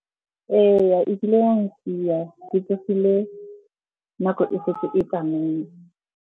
Ee, e kile ya ntshiya. Ke tsogile nako e setse e tsamaile.